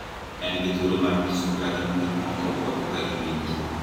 En gi thuolo mar nyiso kaka gineno gik moko kod kaka giwinjo.